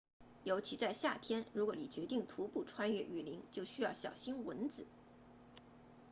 尤其在夏天如果你决定徒步穿越雨林就需要小心蚊子